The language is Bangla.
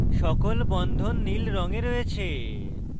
সকল বন্ধন নীল রঙে রয়েছে